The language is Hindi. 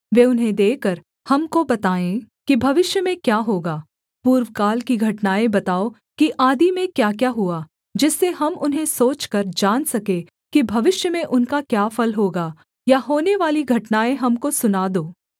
वे उन्हें देकर हमको बताएँ कि भविष्य में क्या होगा पूर्वकाल की घटनाएँ बताओ कि आदि में क्याक्या हुआ जिससे हम उन्हें सोचकर जान सके कि भविष्य में उनका क्या फल होगा या होनेवाली घटनाएँ हमको सुना दो